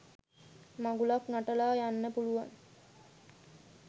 මඟුලක් නටල යන්න පුළුවන්